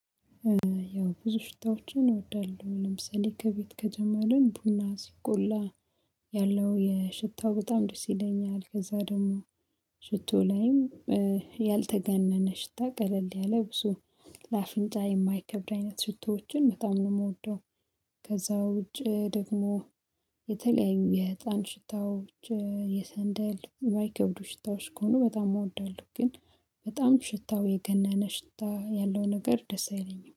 ያው ብዙ ሽታዎችን እወዳለሁ ለምሳሌ ከቤት ከጀመርን ቡና ሲቆላ ያለው የሽታው በጣም ደስ ይለኛል ከዛ ደግሞ ሽቶ ላይም ያልተጋነነ ሽታ ቀለል ያለ ብዙ ለአፍንጫ የማይከብድ አይነት ሽታዎችን በጣም ነው የምወደው። ከዛ ውጪ ደግሞ የተለያዩ የህፃን ሽታዎች የሰንደል ባይከብዱ ሽታዎች ከሆኑ በጣም እወዳለሁ። ግን በጣም ሽታው የገናና ሽታ ያለው ነገር ደስ አይለኝም